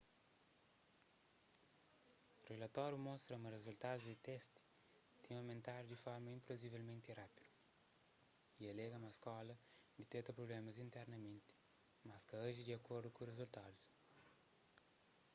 rilatóriu mostra ma rizultadus di testi tinha omentadu di forma inplauzivelmenti rápidu y alega ma skóla diteta prublémas internamenti mas ka aji di akordu ku rizultadus